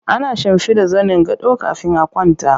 Ana shimfiɗa zanin gado kafin a kwanta